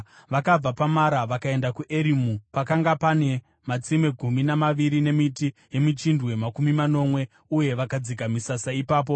Vakabva paMara vakaenda kuErimu, pakanga pane matsime gumi namaviri nemiti yemichindwe makumi manomwe, uye vakadzika misasa ipapo.